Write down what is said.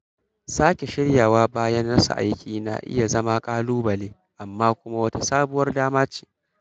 Sake shiryawa bayan rasa aiki na iya zama ƙalubale amma kuma wata sabuwar dama ce.